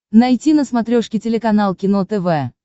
найти на смотрешке телеканал кино тв